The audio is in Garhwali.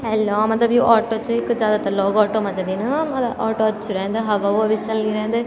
एन लगनु मतलब यु ऑटो च कुछ जादातर लोग ऑटो मा जन्दीन मलब ऑटो अच्छू रेंद हवा उवा भी चलनी रेंद --